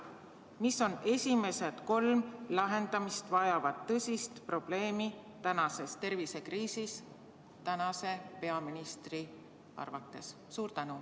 Mis on esimesed kolm lahendamist vajavat tõsist probleemi tänases tervisekriisis tänase peaministri arvates?